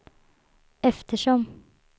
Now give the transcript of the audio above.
eftersom